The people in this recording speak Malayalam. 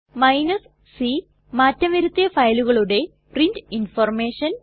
c160 മാറ്റം വരുത്തിയ ഫയലുകളുടെ പ്രിന്റ് ഇൻഫർമേഷൻ